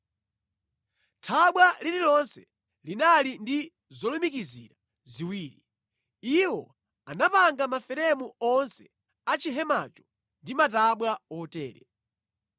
Thabwa lililonse linali ndi zolumikizira ziwiri. Iwo anapanga maferemu onse a chihemacho ndi matabwa otere.